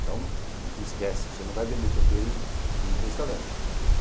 Então, esquece, você não vai vender tempero em em restaurante.